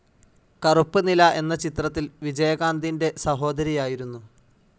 കറുപ്പ് നിലാ എന്ന ചിത്രത്തിൽ വിജയകാന്തിൻ്റെ സഹോദരിയായിരുന്നു.